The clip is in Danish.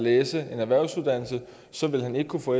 læse en erhvervsuddannelse ville han ikke kunne få